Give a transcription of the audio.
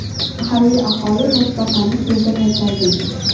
Mahalliy aholi toshbaqani suvga qaytargan.